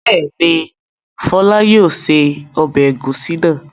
Bẹ́ẹ̀ni, Fọlá yóò se ọbẹ̀ ẹ̀gúsí náà.